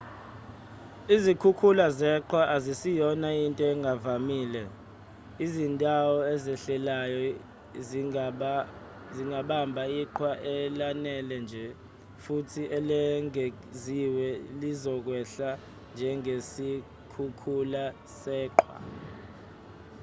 izikhukhula zeqhwa aziyona into engavamile izindawo ezehlelayo zingabamba iqhwa elanele nje futhi elengeziwe lizokwehla njengesikhukhula seqhwa